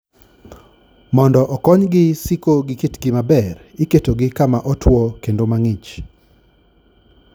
Mondo okonygi siko gi kitgi maber, iketogi kama otwo kendo ma ng'ich.